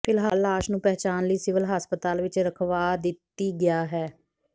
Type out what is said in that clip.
ਫਿਲਹਾਲ ਲਾਸ਼ ਨੂੰ ਪਹਿਚਾਣ ਲਈ ਸਿਵਲ ਹਸਪਤਾਲ ਵਿਚ ਰਖਵਾ ਦਿੱਤੀ ਗਿਆ ਹੈ